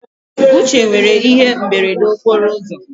Uche nwere ihe imberede okporo ụzọ